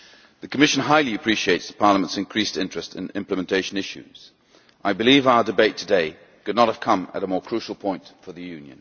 The Commission highly appreciates Parliament's increased interest in implementation issues. I believe our debate today could not have come at a more crucial point for the EU.